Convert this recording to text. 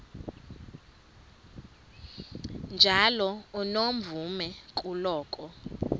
njalo unomvume kuloko